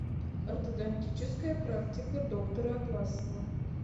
ортодонтическая практика доктора атласова